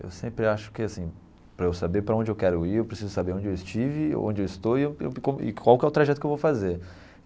Eu sempre acho que assim, para eu saber para onde eu quero ir, eu preciso saber onde eu estive, onde eu estou e qual que e qual que é o trajeto que eu vou fazer.